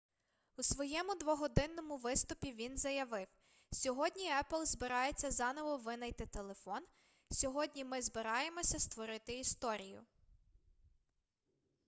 у своєму двогодинному виступі він заявив сьогодні apple збирається заново винайти телефон сьогодні ми збираємося створити історію